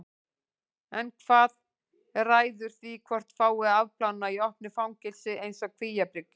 En hvað ræður því hvort fái að afplána í opnu fangelsi eins og Kvíabryggju?